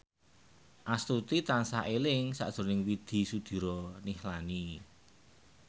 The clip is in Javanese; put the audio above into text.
Astuti tansah eling sakjroning Widy Soediro Nichlany